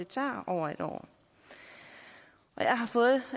tager over et år og jeg har fået